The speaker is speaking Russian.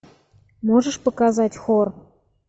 можешь показать хор